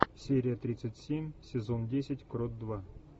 серия тридцать семь сезон десять крот два